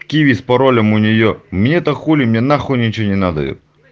киви с паролем у нее мне-то хули мне нахуй ничего не надо это